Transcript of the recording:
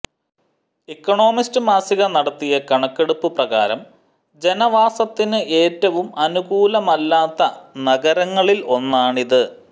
Economist മാസിക നടത്തിയ കണക്കെടുപ്പ് പ്രകാരം ജനവാസത്തിനു ഏറ്റവും അനുകൂലമല്ലാത്ത നഗരങ്ങളിൽ ഒന്നാണിത്